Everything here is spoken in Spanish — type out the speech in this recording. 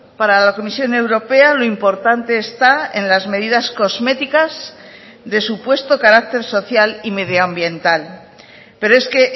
para la comisión europea lo importante está en las medidas cosméticas de supuesto carácter social y medioambiental pero es que